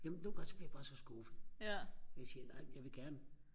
jamen nogle gange så bliver jeg bare så skuffet jeg siger nej jeg vil gerne